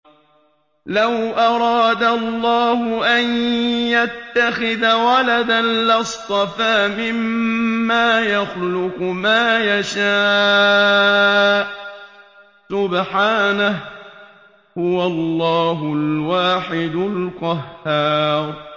لَّوْ أَرَادَ اللَّهُ أَن يَتَّخِذَ وَلَدًا لَّاصْطَفَىٰ مِمَّا يَخْلُقُ مَا يَشَاءُ ۚ سُبْحَانَهُ ۖ هُوَ اللَّهُ الْوَاحِدُ الْقَهَّارُ